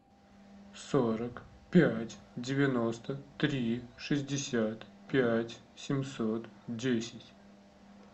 сорок пять девяносто три шестьдесят пять семьсот десять